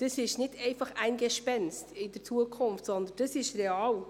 Das ist nicht einfach ein Gespenst in der Zukunft, sondern das ist real.